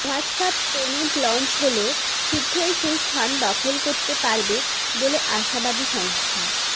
WhatsApp payment launch হলে শিঘ্রই সেই স্থান দখল করতে পারবে বলে আশাবাদী সংস্থা